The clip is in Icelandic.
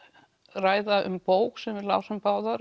ræða um bók sem við lásum báðar